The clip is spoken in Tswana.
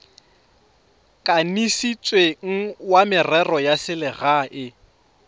kanisitsweng wa merero ya selegae